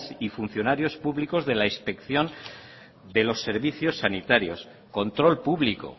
y funcionarios públicos de la inspección de los servicios sanitarios control público